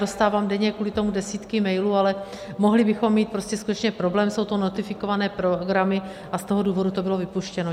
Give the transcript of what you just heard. Dostávám denně kvůli tomu desítky mailů, ale mohli bychom mít prostě skutečně problém, jsou to notifikované programy, a z toho důvodu to bylo vypuštěno.